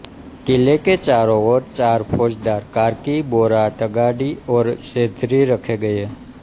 किले के चारों ओर चार फौजदार कार्की बोरा तड़ागी और चैधरी रखे गये